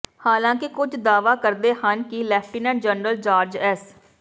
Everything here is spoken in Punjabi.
ਹਾਲਾਂਕਿ ਕੁਝ ਦਾਅਵਾ ਕਰਦੇ ਹਨ ਕਿ ਲੈਫਟੀਨੈਂਟ ਜਨਰਲ ਜਾਰਜ ਐਸ